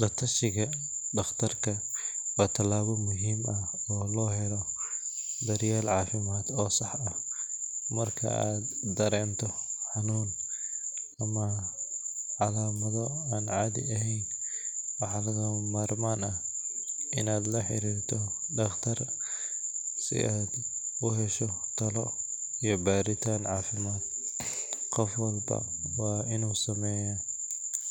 Latashiga daqtarka waa tilaabo muhiim ah, marka aad dareento xanunn waxaa lala xariira daqtar, qof walba waa inuu sameeya